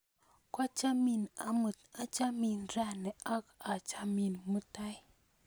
Kwachamin amut, achamin rani ak aachamin mutai.